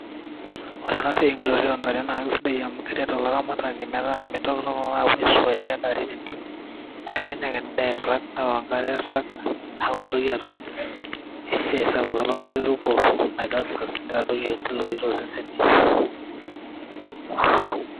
Orena siai enkitotioontare naa sidai amu keret olaramatani metaa meitoki toki aapuo aisuari adaari tentim, neeku enyake endaa eirrag neok enkare eirrag neaku meitoki atum esuai sapuk elototo eruko naitasas neitodoyio nkiloi tosesen.